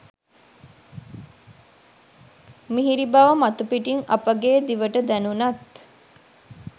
මිහිරි බව මතුපිටින් අපගේ දිවට දැණුනත්